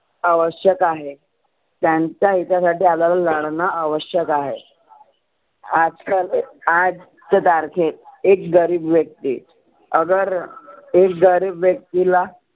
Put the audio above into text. आवश्यक आहे त्यांच्या हिता साठी आपल्याला लढनं आवश्यक आहे. आजकाल हाच तारखेत एक गरिब व्यक्ती अगर एक गरिब व्यक्तीला